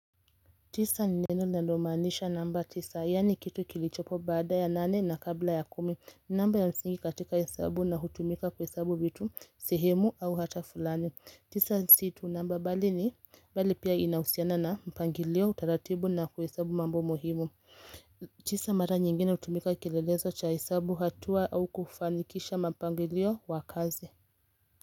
Tisa ni neno linalomaanisha namba tisa, yaani kitu kilichopo baada ya nane na kabla ya kumi. Ni namba ya msingi katika hesabu na hutumika kuhesabu vitu, sehemu au hata fulani. Tisa si tu namba bali ni, bali pia inahusiana na mpangilio, utaratibu na kuhesabu mambo muhimu. Tisa mara nyingine hutumika kielelezo cha hesabu, hatua au kufanikisha mapangilio wa kazi.